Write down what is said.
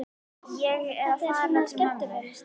Ég er að fara til mömmu.